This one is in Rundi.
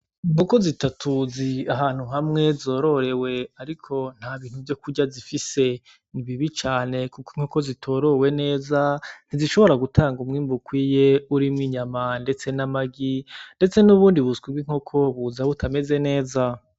Inkoko zitatu ziri ahantu hamwe zororewe ariko nta bintu vyo kurya zifise nibibi cane kuko inkoko zitorowe neza nti zishobora gutanga umwimbu ukwiye urimwo inyama ndetse n'amagi ndetse n'ubundi buswi bw'inkoko buza butameze neza.